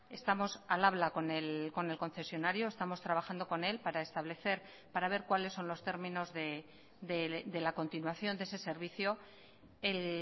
estamos al habla con el concesionario estamos trabajando con él para establecer para ver cuáles son los términos de la continuación de ese servicio el